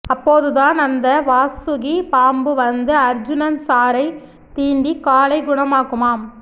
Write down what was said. அப்போதுதான் அந்த வாசுகி பாம்பு வந்து அர்ஜுன் சாரை தீண்டி காலை குணமாக்குமாம்